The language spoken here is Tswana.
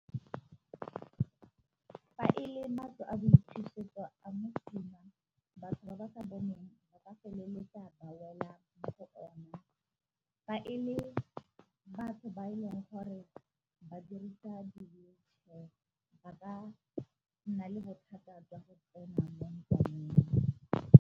Fa ele matlo a boithusetso a mosima batho ba ba sa boneng ba ka feleletsa ba wela mo go ona, fa e le batho ba e leng gore ba dirisa wheelchair ba ka nna le bothata jwa go tsena mo ntlwaneng.